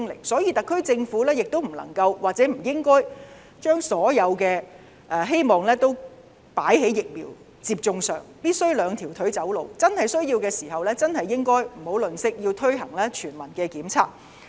所以，特區政府不能夠，亦不應該將所有希望放在疫苗接種上，必須"兩條腿走路"，有需要時不要吝嗇，要推行全民檢測。